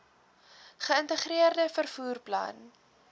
geïntegreerde vervoer plan